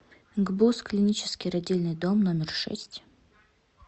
гбуз клинический родильный дом номер шесть